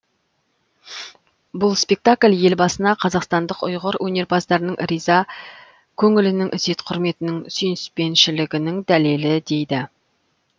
бұл спектакль елбасына қазақстандық ұйғыр өнерпаздарының риза көңілінің ізет құрметінің сүйіспеншілігінің дәлелі дейді